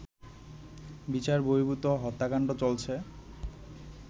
বিচার বহির্ভূত হত্যাকান্ড চলছে